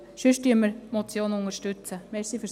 Sonst unterstützen wir die Motion.